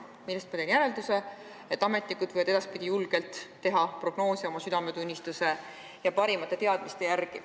Millest ma teen järelduse, et ametnikud võivad edaspidi julgelt teha prognoose oma südametunnistuse ja parimate teadmiste järgi.